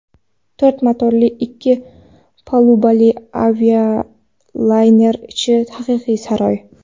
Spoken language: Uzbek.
To‘rt motorli ikki palubali avialayner ichi haqiqiy saroy.